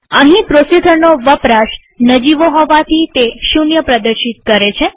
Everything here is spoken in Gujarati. અહીં પ્રોસેસરનો વપરાશ નજીવો હોવાથી તે 0 પ્રદર્શિત કરે છે